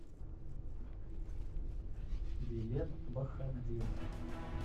билет бахадир